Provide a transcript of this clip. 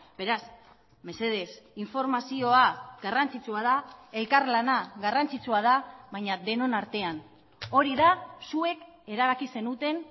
beraz mesedez informazioa garrantzitsua da elkarlana garrantzitsua da baina denon artean hori da zuek erabaki zenuten